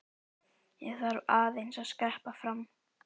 Ég þarf aðeins að skreppa fram.